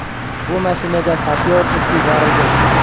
Bu mashinaga sapyor it yuborilgan.